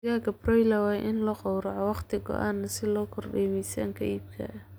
Digaagga broiler waa in la gowraco wakhti go'an si loo kordhiyo miisaanka iibka.